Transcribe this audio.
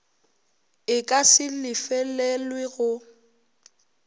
e ka se lefelelwe go